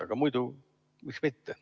Aga muidu, miks mitte.